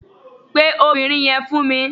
Pè obìnrin yẹn fún mi